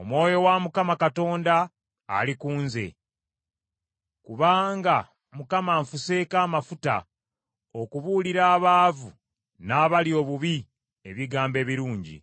Omwoyo wa Mukama Katonda ali ku nze, kubanga Mukama anfuseeko amafuta okubuulira abaavu n’abali obubi ebigambo ebirungi,